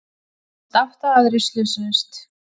Minnst átta aðrir slösuðust